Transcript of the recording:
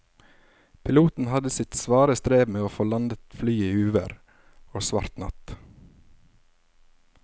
Piloten hadde sitt svare strev med å få landet flyet i uvær og svart natt.